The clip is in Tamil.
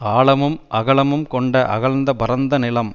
ஆழமும் அகலமும் கொண்ட அகழ் பரந்த நிலம்